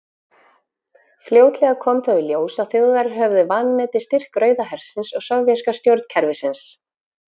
Fljótlega kom þó í ljós að Þjóðverjar höfðu vanmetið styrk Rauða hersins og sovéska stjórnkerfisins.